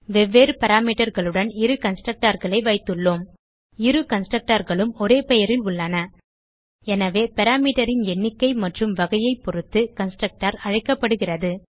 வெவ்வேறு parameterகளுடன் இரு constructorகளை வைத்துள்ளோம் இரு கன்ஸ்ட்ரக்டர் களும் ஒரே பெயரில் உள்ளன எனவே பாராமீட்டர் ன் எண்ணிக்கை மற்றும் வகையை பொருத்து கன்ஸ்ட்ரக்டர் அழைக்கப்படுகிறது